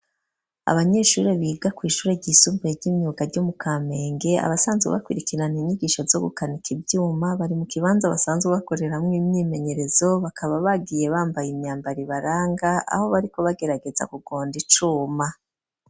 Abanyeshuri biga kw'ishure ryisumbuye ry'imyuka ryo mu Kamenge, abasanzwe bakwirikirana inyigisho zo gukanika ivyuma, bari mu kibanza basanzwe bakoreramwo imyimenyerezo, bakaba bagiye bambaye imyambaro ibaranga aho bariko bagerageza kugonda icuma.